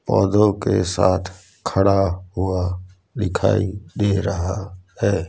पौधों के साथ खड़ा हुआ दिखाई दे रहा है।